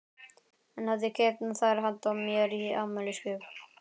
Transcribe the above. Hann hafði keypt þær handa mér í afmælisgjöf.